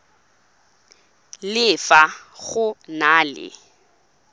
le fa go na le